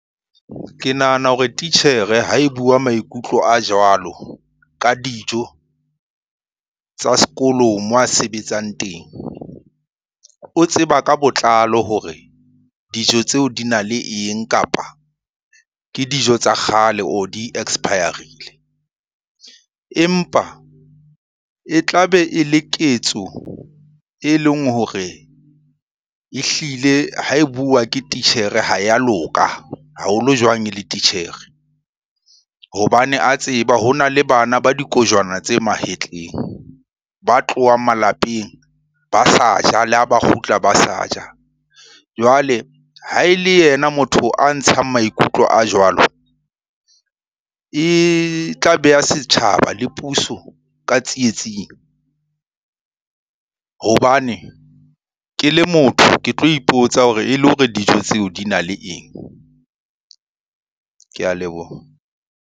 Ke nahana hore titjhere ha e bua maikutlo a jwalo ka dijo tsa sekolong moo a sebetsang teng, o tseba ka botlalo hore dijo tseo di na le eng? Kapa ke dijo tsa kgale or di-expire-rile. Empa e tlabe e le ketso e leng hore ehlile ha e buwa ke titjhere ha ya loka, haholo jwang e le titjhere. Hobane a tseba ho na le bana ba dikojwana tse mahetleng, ba tlohang malapeng ba sa ja, le ha ba kgutla ba sa ja. Jwale ha e le yena motho a ntshang maikutlo a jwalo, e tla beha setjhaba le puso ka tsietsing. Hobane ke le motho, ke tlo ipotsa hore e le hore dijo tseo di na le eng? Ke a leboha.